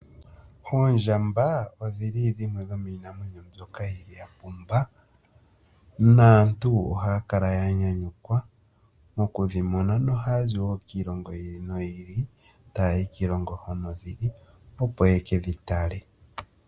Oondjamba odhili dhimwe dhomiinamwenyo mbyoka yili yapumba. Aantu ohaya kala yanyanyukwa mokudhimona, nohaya zi wo kiilongo yi ili noyi ili, tayayi kiilongo hono dhili opo yekedhi tale.